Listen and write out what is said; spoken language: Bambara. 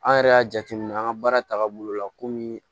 An yɛrɛ y'a jateminɛ an ka baara taaga bolo la komi